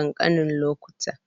taimakawa mata, wajen samun sauƙi yayin shayarwa.